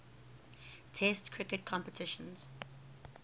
test cricket competitions